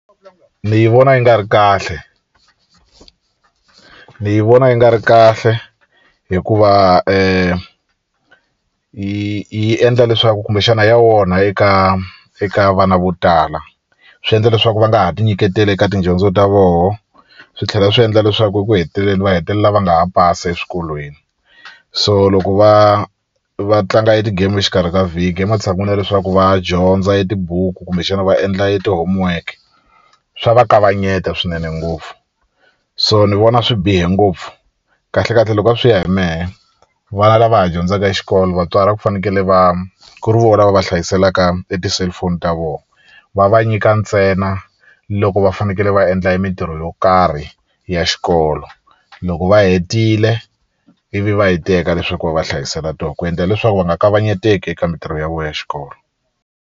Ni yi vona yi nga ri kahle ni yi vona yi nga ri kahle hikuva yi yi endla leswaku kumbexana ya onha eka eka vana vo tala swi endla leswaku va nga ha ti nyiketeli eka tidyondzo ta voho swi tlhela swi endla leswaku eku heteleleni va hetelela va nga ha pasi eswikolweni so loko va va tlanga e ti-game exikarhi ka vhiki ematshan'wini ya leswaku va dyondza e tibuku kumbexana va endla eti-homework swa va kavanyeta swinene ngopfu so ni vona swi bihe ngopfu kahlekahle loko a swi ya hi mehe vana lava ha dyondzaka e xikolo vatswari a ku fanekele va ku ri vona va va hlayiselaka e ti-cellphone ta vona va va nyika ntsena loko va fanekele va endla e mintirho yo karhi ya xikolo loko va hetile ivi va yi teka leswaku va va hlayisela to ku endlela leswaku va nga kavanyeteki eka mintirho ya vo ya xikolo.